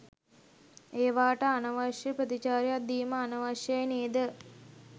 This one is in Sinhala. ඒවාට අනවශ්‍ය ප්‍රතිචාරයක් දීම අනවශයි නේද?